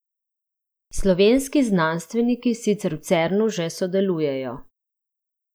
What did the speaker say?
Slovenski znanstveniki sicer v Cernu že sodelujejo.